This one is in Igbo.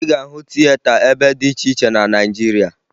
Ị ga-ahụ tieta ebe dị iche iche na Naịjirịa